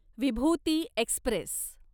विभूती Express